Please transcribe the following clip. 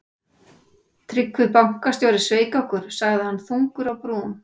Tryggvi bankastjóri sveik okkur, sagði hann þungur á brún.